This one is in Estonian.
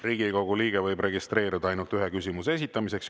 Riigikogu liige võib registreeruda ainult ühe küsimuse esitamiseks.